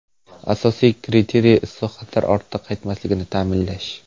Asosiy kriteriy islohotlar ortga qaytmasligini ta’minlash.